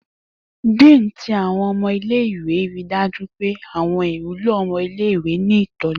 Dean ti Awọn ọmọ ile-iwe rii daju pe awọn iwulo ọmọ ile-iwe ni itọju